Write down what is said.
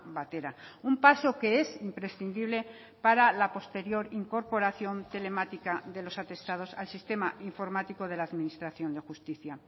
batera un paso que es imprescindible para la posterior incorporación telemática de los atestados al sistema informático de la administración de justicia